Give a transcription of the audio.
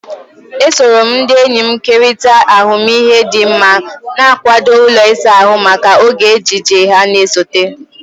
Esoro m ndị enyi m kerịta ahụmịhe m dị mma, na-akwado ụlọ ịsa ahụ maka oge ejiji ha na-esote.